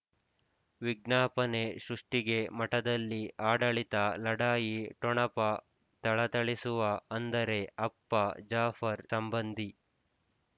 ವಿಜ್ಞಾಪನೆ ಸೃಷ್ಟಿಗೆ ಮಠದಲ್ಲಿ ಆಡಳಿತ ಲಢಾಯಿ ಠೊಣಪ ಥಳಥಳಿಸುವ ಅಂದರೆ ಅಪ್ಪ ಜಾಫರ್ ಸಂಬಂಧಿ